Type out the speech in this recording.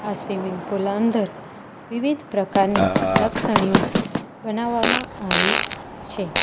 આ swimming pool અંદર વિવિધ પ્રકારની લપસણીઓ બનાવામાં આવી છે.